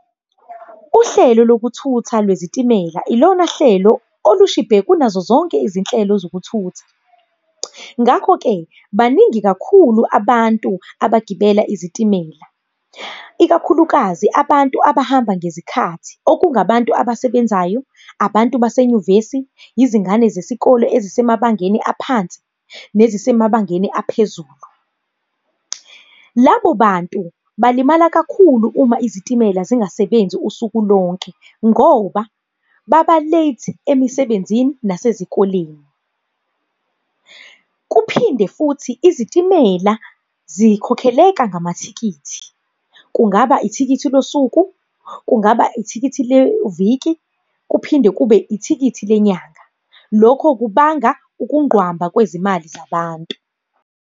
Uhlelo lokuthutha lwezitimela, ilona hlelo olushibhe kunazo zonke izinhlelo zokuthutha. Ngakho-ke baningi kakhulu abantu abagibela izitimela, ikakhulukazi abantu abahamba ngezikhathi, okungabantu abasebenzayo, abantu basenyuvesi, izingane zesikole ezisemabangeni aphansi, nezisemabangeni aphezulu. Labo bantu balimala kakhulu uma izitimela zingasebenzi usuku lonke, ngoba baba-late emisebenzini nasezikoleni. Kuphinde futhi izitimela zikhokheleka ngamathikithi, kungaba ithikithi losuku, kungaba ithikithi leviki kuphinde kube ithikithi lenyanga. Lokho kubanga ukunqwamba kwezimali zabantu.